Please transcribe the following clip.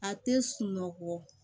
A tɛ sunɔgɔ